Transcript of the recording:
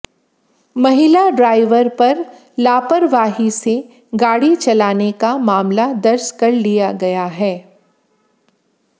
महिला ड्राइवर पर लापरवाही से गाड़ी चलाने का मामला दर्ज कर लिया गया है